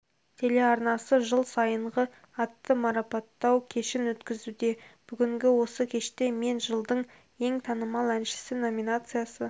телеарнасы жыл сайынғы атты марапаттау кешін өткізуде бүгінгі осы кеште мен жылдың ең танымал әншісі номинациясы